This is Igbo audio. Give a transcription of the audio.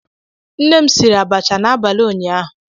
Nne m siri abacha n'abalị ụnyaahụ